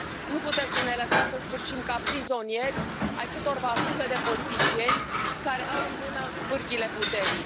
Nu puteți să ne lăsați să sfârșim ca prizonieri ai câtorva sute de politicieni care au în mână pârghiile puterii.